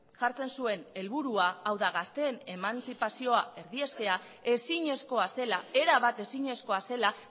jartzen zuen helburua hau da gazteen emantzipazioa erdiestea ezinezkoa zela erabat ezinezkoa zela